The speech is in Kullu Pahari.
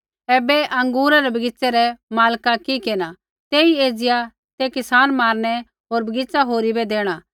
ऐबै अँगूरै रै बगीच़ै रै मालका कि केरना तेई एज़िया ते किसान मारनै होर बगीच़ा होरी बै देणा